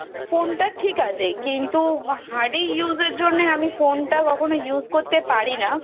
phone টা ঠিক আছে. কিন্তু hardy usage র জন্য আমি phone টা কখনো use করতে পারি না